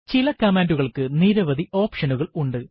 ചില കമാൻഡുകൾക്ക് നിരവധി ഓപ്ഷനുകൾ ഉണ്ട്